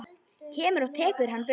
Kemur og tekur hana burt.